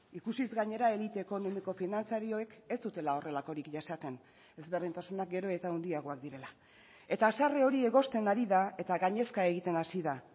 ikusiz gainera elite ekonomiko finantzarioek ez dutela horrelakorik jasaten ezberdintasuna gero eta handiagoak direla eta haserre hori egozten ari da eta gainezka egiten hasi da